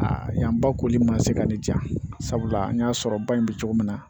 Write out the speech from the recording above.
Aa yan ba koli ma se ka ne ja sabula n y'a sɔrɔ ba in bɛ cogo min na